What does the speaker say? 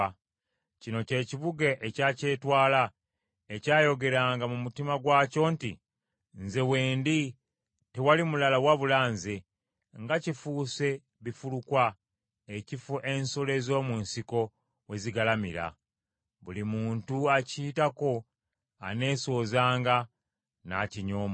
Kino kye kibuga ekya kyetwala, ekyayogeranga mu mutima gwakyo nti, Nze we ndi, tewali mulala wabula nze: nga kifuuse bifulukwa, ekifo ensolo ez’omu nsiko we zigalamira! Buli muntu akiyitako aneesoozanga n’akinyoomoola.